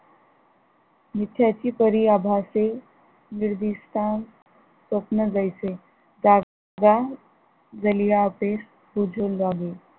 मिथ्याची परिआभासे निर्दीष्टन स्वप्न जैसे